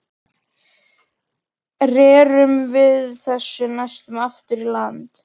Rerum við þessu næst aftur í land.